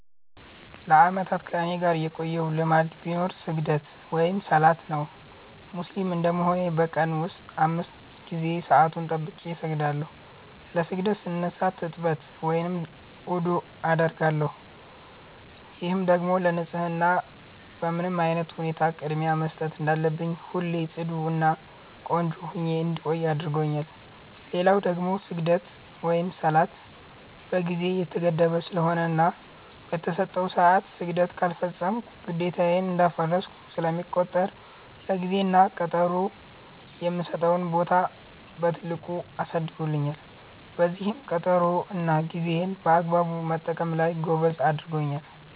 ለአመታት ከኔጋ የቆየ ልማድ ቢኖር ስግደት(ሰላት) ነው። ሙስሊም እንደመሆኔ በ ቀን ውስጥ 5 ጊዜ ሰአቱን ጠብቄ እሰግዳለው። ለ ስግደት ስነሳ ትጥበት(ውዱዕ) አደርጋለው፤ ይህም ደግሞ ለ ንፀህና በምንም አይነት ሁኔታ ቅድሚያ መስጠት እንዳለብኝና ሁሌ ፅዱ እና ቆንጆ ሁኜ እንድቆይ አድርጎኛል። ሌላው ደግሞ ስግደት(ሰላት) በ ጊዜ የተገደበ ስለሆነና በ ተሰጠው ሰዐት ስግደት ካልፈፀምኩ ግዴታዬን እንዳፈረስኩ ስለሚቆጠር ለ ጊዜ እና ቀጠሮ የምሰጠውን ቦታ በትልቁ አሳድጎልኛል፤ በዚህም ቀጠሮ እና ጌዜን በአግባቡ መጠቀም ላይ ጎበዝ አድርጎኛል።